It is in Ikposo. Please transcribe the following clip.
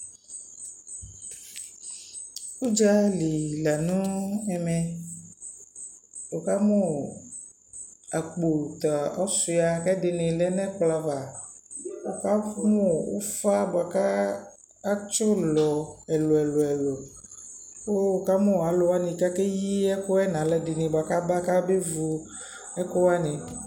Udzali la nʋ ɛmɛWʋ ka mʋ akpo ta ɔsyʋa kʋ ɛdιnι lɛ nʋ ɛkplɔ ava, wʋ ka mʋ ʋfa bʋa kʋ atsι ʋlɔ ɛlʋ ɛlʋ ɛlʋ, kʋ wʋ ka mʋ alʋ ɛdιnι kʋ akeyi ɛkʋ yɛ nʋ alʋ ɛdιnι bʋa kʋ aba kʋ abe vu ɛkʋ wanι